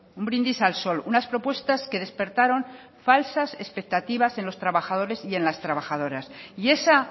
un brindis al sol unas propuestas que despertaron falsas expectativas en los trabajadores y en las trabajadoras y esa